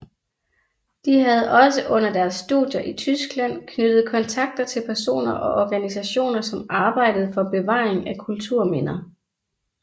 De havde også under deres studier i Tyskland knyttet kontakter til personer og organisationer som arbejdede for bevaring af kulturminder